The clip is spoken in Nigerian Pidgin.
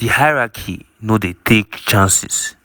but di hierarchy no dey take chances.